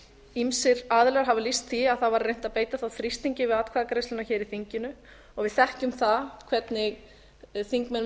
ýmsir aðilar hafa lýst því að það var reynt að beita þá þrýstingi við atkvæðagreiðsluna hér í þinginu og við þekkjum það hvernig þingmenn